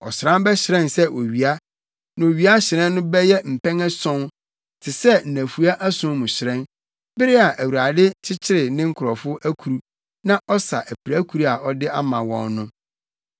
Ɔsram bɛhyerɛn sɛ owia, na owia hyerɛn no bɛyɛ mpɛn ason, te sɛ nnafua ason mu hyerɛn, bere a Awurade kyekyere ne nkurɔfo akuru na ɔsa apirakuru a ɔde ama wɔn no.